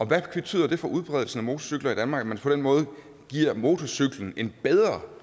hvad betyder det for udbredelsen af motorcykler i danmark at man på den måde giver motorcyklen en bedre